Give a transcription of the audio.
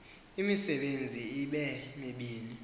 imisebenzi ibe mibini